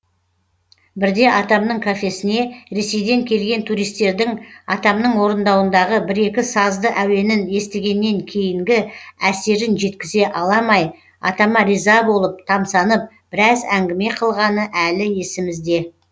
бірде атамның кафесіне ресейден келген туристердің атамның орындауындағы бір екі сазды әуенін естігеннен кейінгі әсерін жеткізе аламай атама риза болып тамсанып біраз әңгіме қылғаны әлі есімізде